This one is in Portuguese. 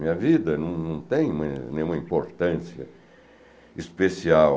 Minha vida não não tem nenhuma importância especial.